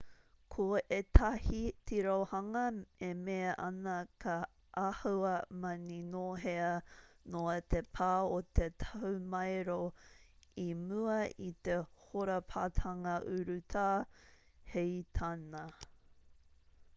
ko ētahi tirohanga e mea ana ka āhua maninohea noa te pā o te tahumaero i mua i te hōrapatanga urutā hei tāna